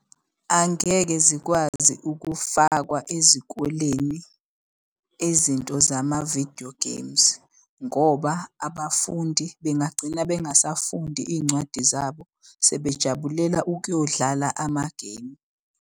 Angeke zikwazi ukufakwa ezikoleni izinto zama-video games ngoba abafundi bengagcina bengasafundi iy'ncwadi zabo sebejabulela ukuyodlala ama-game.